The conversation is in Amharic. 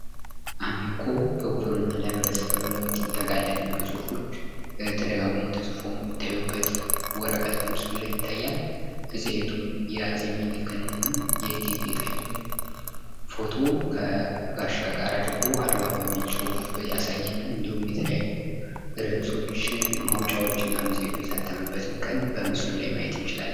አሚኮ ለህብረተሰብ ለውጥ እንተጋለን የሚሉ ጽሑፎች ተደጋግሞ ተጽፍ የሚታዩበት ወረቀት በምስሉ ላይ ይታያል። መጽሔቱም የአጼ ሚኒልክ እና የእቴጌ ጥይቱን ፍቶ ከጋሻ ጋር አድርጎ አድዋ የሚል ጽሑፍ ያሳየናል። እንድሁም የተለያዩ ርዕሶች ማውጫዎችና መጽሔቱ የታተመበትን ቀን በምስሉ ላይ ማየት እንችላለን።